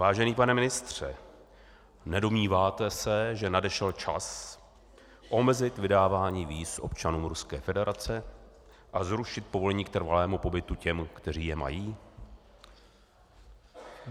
Vážený pane ministře, nedomníváte se, že nadešel čas omezit vydávání víz občanům Ruské federace a zrušit povolení k trvalému pobytu těm, kteří je mají?